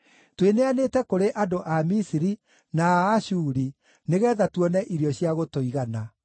Twĩneanĩte kũrĩ andũ a Misiri na a Ashuri nĩgeetha tuone irio cia gũtũigana.